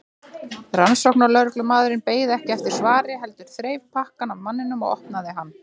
Rannsóknarlögreglumaðurinn beið ekki eftir svari heldur þreif pakkann af manninum og opnaði hann.